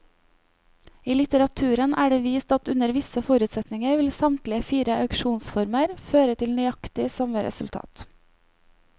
I litteraturen er det vist at under visse forutsetninger vil samtlige fire auksjonsformer føre til nøyaktig samme resultat.